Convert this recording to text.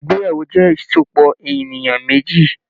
Ìgbéyàwó jẹ ìsopọ̀ ènìyàn méjì.